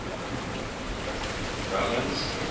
drummond's